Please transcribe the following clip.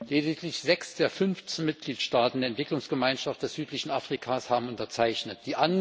Lediglich sechs der fünfzehn Mitgliedstaaten der Entwicklungsgemeinschaft des südlichen Afrika haben unterzeichnet.